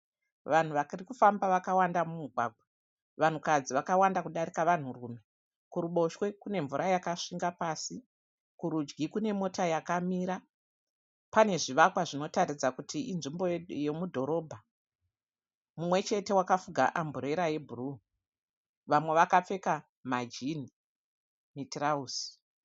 Vanhu varikufamba vakawanda mumugwagwa, vanhukadzi vakawanda kudarika varume. Kuruboshwe kune mvura yakasvinga pasi kurudyi kune mota yakamira. Pane zvivakwa zvinotaridza kuti inzvimbo yemudhorobha. Mumwe chete wakafuga amburera yebhuruu, vamwe vakapfeka majini mitirauzi.